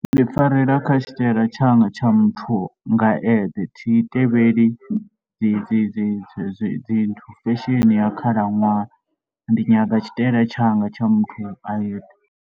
Ndi farela kha tshitaela tshanga tsha muthu nga eṱhe. Thi tevheli dzi dzi dzi dzi dzi nthu, fashion ya khalaṅwaha, ndi nyaga tshitaela tshanga tsha muthu a eṱhe.